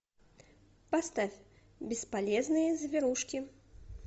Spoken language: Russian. поставь бесполезные зверушки